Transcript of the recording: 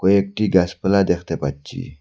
কয়েকটি গাসপালা দেখতে পাচ্ছি।